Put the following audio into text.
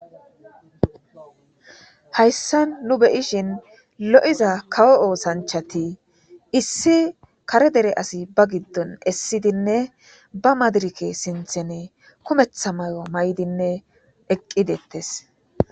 hayssan nu beyishin lo7iza kawo oosanchati issi kare dere asi ba giddon essidinne ba madirike sinthene kumetha may7o maydinne eqqi dettes